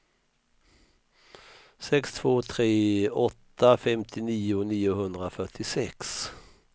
sex två tre åtta femtionio niohundrafyrtiosex